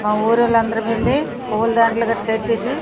మా ఊరి వాళ్ళం అందరం వెళ్లి పుల్ల దండాలు అవి కాటేసి --